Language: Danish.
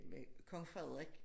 Men Kong Frederik